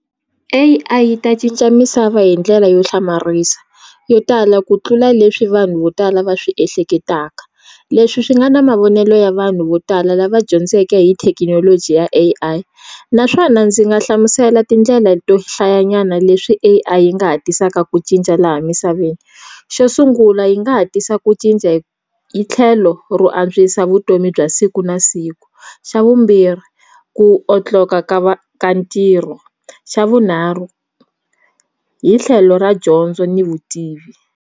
A_I yi ta cinca misava hi ndlela yo hlamarisa yo tala ku tlula leswi vanhu vo tala va swi ehleketaka leswi swi nga na mavonelo ya vanhu vo tala lava dyondzeke hi thekinoloji ya A_I naswona ndzi nga hlamusela tindlela to hlayanyana leswi A_I yi nga hatlisaka ku cinca laha misaveni xo sungula yi nga tisa ku cinca hi tlhelo ro antswa se vutomi bya siku na siku xa vumbirhi ku otloka ka ka ntirho xa vunharhu hi tlhelo ra dyondzo ni vutivi.